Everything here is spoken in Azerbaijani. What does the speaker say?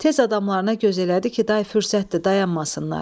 Tez adamlarına göz elədi ki, day fürsətdir, dayanmasınlar.